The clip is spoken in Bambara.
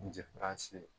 N tɛ ye